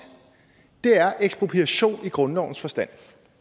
er ekspropriation i grundlovens forstand